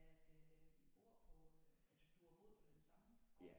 At I bor på du du har boet på den samme gård?